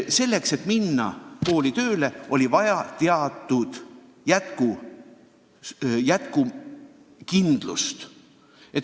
Selleks, et kooli tööle minna, on vaja olnud teatud jätkukindlust.